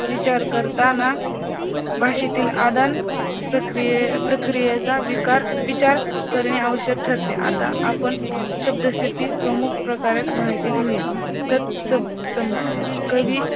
विचार करताना भाषेतील आदान प्रक्रिये प्रक्रियेचा विकार विचार ठरणे आवश्यक ठरते आता आपण शब्दसिद्धी प्रमुख प्रकारात माहिती घेऊया